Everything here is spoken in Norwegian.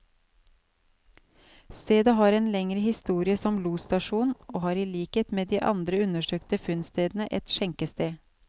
Stedet har en lengre historie som losstasjon, og hadde i likhet med de to andre undersøkte funnstedene, et skjenkested.